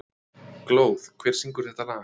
Glóð, hver syngur þetta lag?